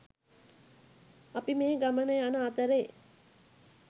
අපි මේ ගමන යන අතරේ